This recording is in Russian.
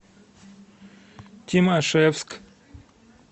тимашевск